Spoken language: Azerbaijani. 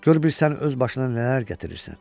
Gör bir sən öz başına nələr gətirirsən.